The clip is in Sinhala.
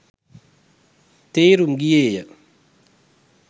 තේරුම් ගියේය.